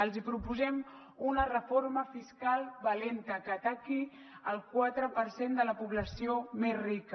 els proposem una reforma fiscal valenta que ataqui el quatre per cent de la població més rica